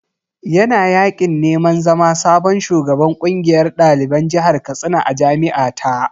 Yana yaƙin neman zama sabon shugaban ƙungiyar ɗaliban jihar Katsina a jami’a ta.